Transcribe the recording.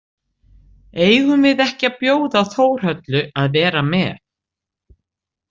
Eigum við ekki að bjóða Þórhöllu að vera með?